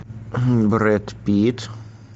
брэд питт